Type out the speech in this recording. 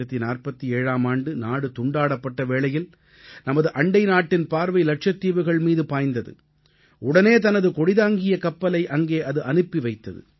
1947ஆம் ஆண்டு நாடு துண்டாடப்பட்ட வேளையில் நமது அண்டை நாட்டின் பார்வை லட்சத்தீவுகள் மீது பாய்ந்தது உடனே தனது கொடிதாங்கிய கப்பலை அங்கே அது அனுப்பி வைத்தது